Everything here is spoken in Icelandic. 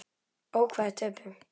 Ó, hvað þeir töpuðu.